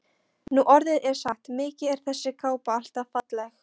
Nú orðið er sagt: Mikið er þessi kápa alltaf falleg